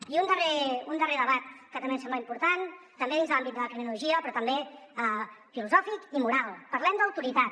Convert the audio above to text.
i un darrer debat que també ens sembla important també dins de l’àmbit de la criminologia però també filosòfic i moral parlem d’autoritat